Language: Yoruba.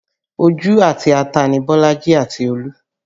Ojú àti ata ni Bolaji àti Olú